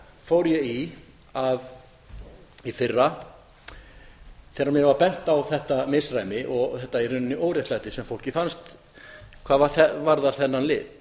fór ég í í fyrra þegar mér var bent á þetta misræmi og þetta í rauninni óréttlæti sem fólki fannst hvað varðar þennan lið